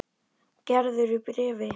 Gerður í bréfi.